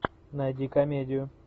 найди комедию